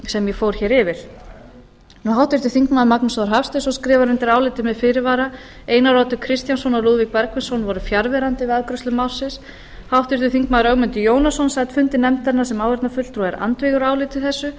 sem ég fór hér yfir háttvirtir þingmenn magnús þór hafsteinsson skrifar undir álitið með fyrirvara einar oddur kristjánsson og lúðvík bergvinsson voru fjarverandi við afgreiðslu málsins háttvirtur þingmaður ögmundur jónasson sat fundi nefndarinnar sem áheyrnarfulltrúi og er andvígur áliti þessu